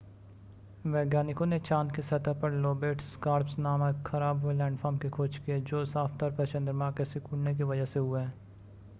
वैज्ञानिकों ने चांद की सतह पर लोबेट स्कार्प्स नामक ख़राब हुए लैंडफ़ॉर्म की खोज की है जो साफ़ तौर पर चंद्रमा के सिकुड़ने की वजह से हुए हैं